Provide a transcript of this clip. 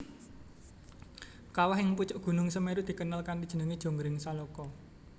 Kawah ing pucuk Gunung Semèru dikenal kanthi jeneng Jonggring Saloko